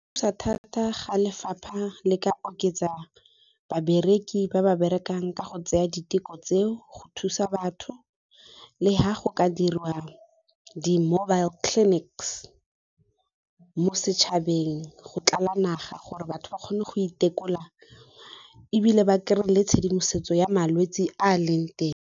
Thusa thata ga lefapha le ka oketsa babereki ba ba berekang ka go tseya diteko tseo, go thusa batho le ha go ka diriwa di-mobile clinics mo setšhabeng go tlala naga gore batho ba kgone go itekola ebile ba kry-e le tshedimosetso ya malwetse a a leng teng.